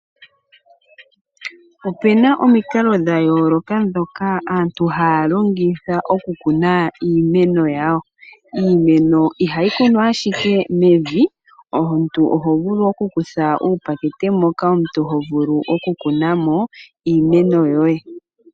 Opena omikalo dhayooloka ndhoka aantu haya longitha okukuna iimeno yawo. Iimeno ihayi kunwa ashike mevi, omuntu ohovulu okukutha uupakete moka omuntu hovulu okukuna mo iimeno yoye.